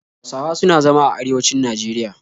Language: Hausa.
Hausawa suna zama a arewanci Najeriya